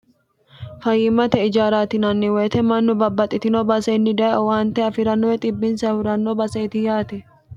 fayimmate ijaaraatinanni woyite mannu babbaxxitino basenni daye owaante afi'rannoe dhibinsan huranno baseeti yaate